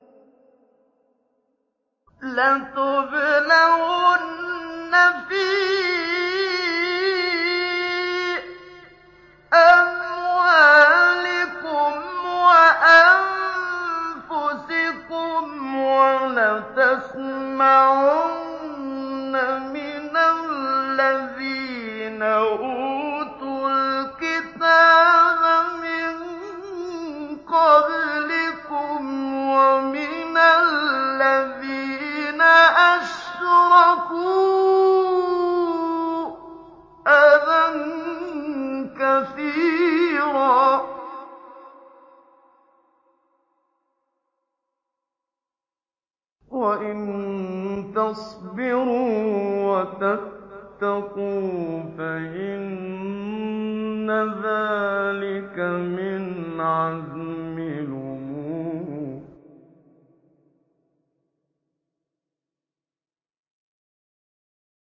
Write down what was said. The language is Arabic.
۞ لَتُبْلَوُنَّ فِي أَمْوَالِكُمْ وَأَنفُسِكُمْ وَلَتَسْمَعُنَّ مِنَ الَّذِينَ أُوتُوا الْكِتَابَ مِن قَبْلِكُمْ وَمِنَ الَّذِينَ أَشْرَكُوا أَذًى كَثِيرًا ۚ وَإِن تَصْبِرُوا وَتَتَّقُوا فَإِنَّ ذَٰلِكَ مِنْ عَزْمِ الْأُمُورِ